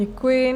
Děkuji.